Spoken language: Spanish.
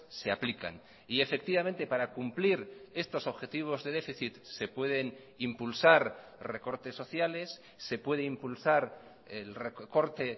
se aplican y efectivamente para cumplir estos objetivos de déficit se pueden impulsar recortes sociales se puede impulsar el recorte